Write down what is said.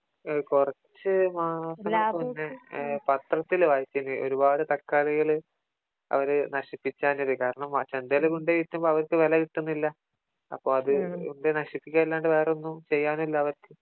കുറച്ചു മാസങ്ങൾക്ക് മുന്നേ പത്രത്തില് വായിച്ചിന് ഒരുപാട് തക്കാളികള് അവര് നശിപ്പിച്ചളിഞ്ഞിന് . കാരണം ചന്തയില് കൊണ്ടോയി വിറ്റപ്പോ അവർക്ക് വില കിട്ടുന്നില്ല അപ്പോ അത് കൊണ്ട് പോയി നശിപ്പിക്കാനല്ലാതെ വേറൊന്നും ചെയ്യാനില്ല അവർക്ക്